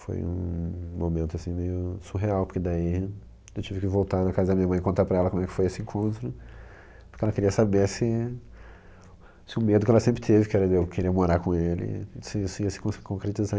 Foi um momento meio surreal, porque daí eu tive que voltar na casa da minha mãe e contar para ela como foi esse encontro, porque ela queria saber se se o medo que ela sempre teve, que era de eu querer ir morar com ele, se isso ia se con concretizar.